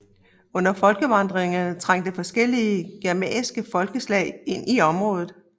Under folkevandringerne trængte forskellige germanske folkeslag ind i området